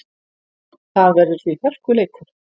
Það verður því hörkuleikur.